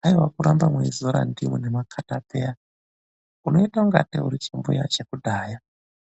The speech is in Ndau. Haiwa kuramba mweidzore ndimu nemakatapeya munoite ungatei muri zvimbuya zvekudhaya zvemene.